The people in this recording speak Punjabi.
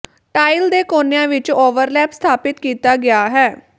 ਟਾਇਲ ਦੇ ਕੋਨਿਆਂ ਵਿੱਚ ਓਵਰਲੈਪ ਸਥਾਪਿਤ ਕੀਤਾ ਗਿਆ ਹੈ